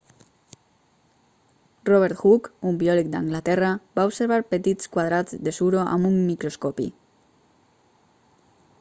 robert hooke un biòleg d'anglaterra va observar petits quadrats de suro amb un microscopi